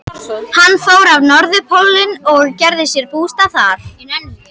Hann fór á Norðurpólinn og gerði sér bústað þar.